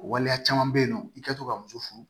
O waleya caman bɛ yen nɔ i ka to ka muso furu